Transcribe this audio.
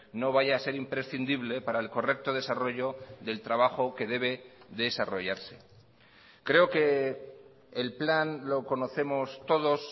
no vaya a ser imprescindible para el correcto desarrollo del trabajo que debe desarrollarse creo que el plan lo conocemos todos